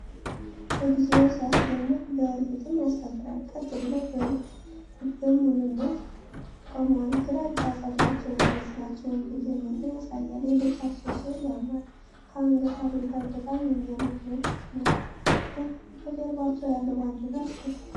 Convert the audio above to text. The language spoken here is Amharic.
እግዚኦ ሲያስደንቅ! በእርግጥም ያስከብራል። ቀጥ ብለው በልበ ሙሉነት ቆመዋል። ግራጫ ፀጉራቸውና መነፅራቸው ብልህነት ያሳያል። የልብሳቸው ስዕል ያምራል። ከአንገት ሐብል ጋር በጣም የሚያምር መልክ ነው። ከጀርባቸው ያለው ባንዲራ ያስደስታል።